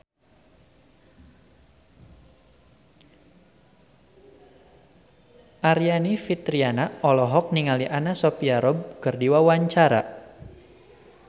Aryani Fitriana olohok ningali Anna Sophia Robb keur diwawancara